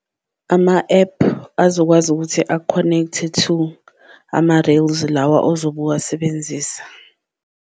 Ama-app azokwazi ukuthi aku-connect-e to ama-rails lawa ozobe uwasebenzisa.